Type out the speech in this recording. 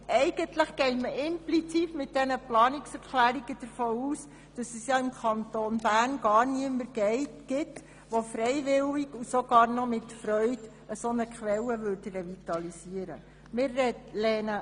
Eigentlich geht man implizit mit diesen Planungserklärungen davon aus, dass es ja im Kanton Bern gar niemanden gibt, der eine solche Quelle freiwillig und gar mit Freuden revitalisieren würde.